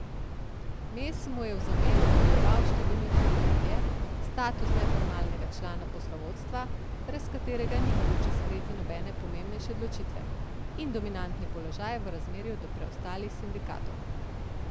Mes mu je v zameno dovoljeval številne privilegije, status neformalnega člana poslovodstva, brez katerega ni mogoče sprejeti nobene pomembnejše odločitve, in dominantni položaj v razmerju do preostalih sindikatov.